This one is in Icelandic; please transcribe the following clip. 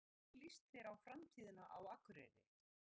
Þórhildur: Og hvernig líst þér á framtíðina á Akureyri?